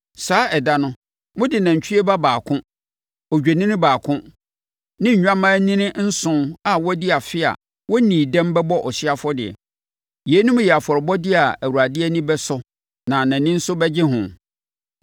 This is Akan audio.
Saa ɛda no, mode nantwie ba baako, odwennini baako ne nnwammaanini nson a wɔadi afe a wɔnnii dɛm bɛbɔ ɔhyeɛ afɔdeɛ. Yeinom yɛ afɔrebɔdeɛ a Awurade ani bɛsɔ na nʼani nso bɛgye ho.